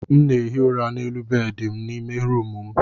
M na-ehi ụra n'elu bedị n'ime rumụ m.